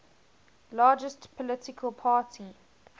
largest political party